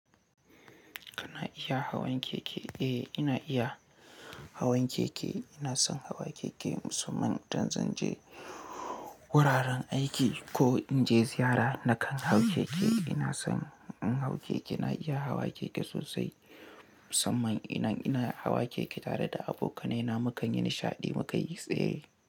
Kana iya hawan keke? Eh ina iya hawa keke. Ina son hawa keke musamman idan zan je wuraren aiki ko in je ziyara nakan hau keke. Ina son in hau keke. Na iya hawa keke sosai musamman idan ina hawa keke tare da abokai na, mukan yi nishaɗi mukan yi tsere.